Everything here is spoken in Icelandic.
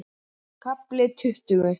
KAFLI TUTTUGU